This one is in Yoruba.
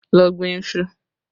Lọ gbin iṣu!